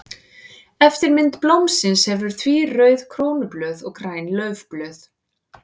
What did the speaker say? Eftirmynd blómsins hefur því rauð krónublöð og græn laufblöð.